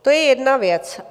To je jedna věc.